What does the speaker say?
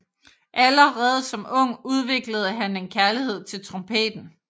Allerede som ung udviklede han en kærlighed til trompeten